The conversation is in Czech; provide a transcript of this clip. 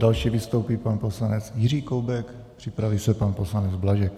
Další vystoupí pan poslanec Jiří Koubek, připraví se pan poslanec Blažek.